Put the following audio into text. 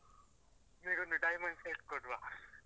ನಿಂಗ್ ಒಂದು diamond set ಕೊಡ್ವ .